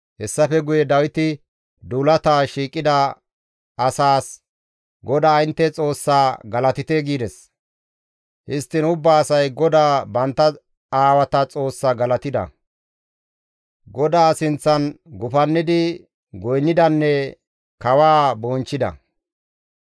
Hessafe guye Dawiti duulata shiiqida asaas, «GODAA intte Xoossaa galatite» gides; histtiin ubba asay GODAA bantta aawata Xoossaa galatida; GODAA sinththan gufannidi goynnidanne kawaa bonchchida.